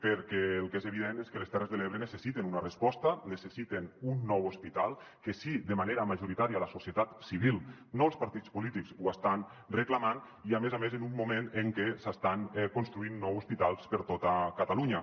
perquè el que és evident és que les terres de l’ebre necessiten una resposta necessiten un nou hospital que sí de manera majoritària la societat civil no els partits polítics ho està reclamant i a més a més en un moment en què s’estan construint nou hospitals per tota catalunya